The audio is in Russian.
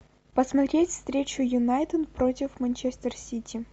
посмотреть встречу юнайтед против манчестер сити